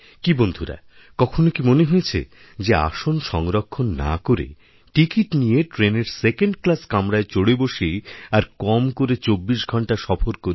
কি বন্ধুরা কখনো কি মনেহয়েছে যে আসন সংরক্ষণ না করে টিকিট নিয়ে ট্রেনের সেকেণ্ড ক্লাস কামরায় চড়ে বসি আরকম করেও ২৪ ঘণ্টা সফর করি